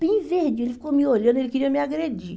Bem verdinho, ele ficou me olhando, ele queria me agredir.